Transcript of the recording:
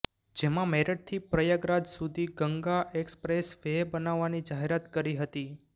જેમાં મેરઠથી પ્રયાગરાજ સુધી ગંગા એકસપ્રેસ વે બનાવવાની જાહેરાત કરી હતી